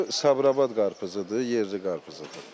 Bu Sabirabad qarpızıdır, yerli qarpızıdır.